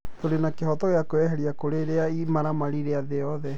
Tũrĩ na kĩhooto gĩa kwĩyeheria kũrĩ rĩa ĩmaramari rĩa thĩ yothe.